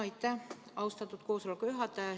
Aitäh, austatud koosoleku juhataja!